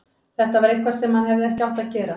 Þetta var eitthvað sem hann hefði ekki átt að gera.